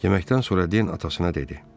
Yeməkdən sonra Den atasına dedi: